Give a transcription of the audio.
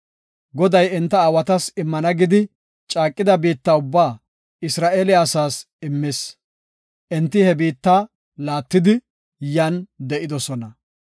Goday enta aawatas immana gidi caaqida biitta ubbaa Isra7eele asaas immis. Enti he biitta laattidi, yan de7idosona.